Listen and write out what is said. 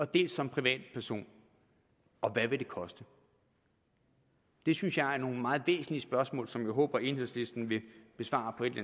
dels som privatperson og hvad vil det koste det synes jeg er nogle meget væsentlige spørgsmål som jeg håber at enhedslisten vil besvare på et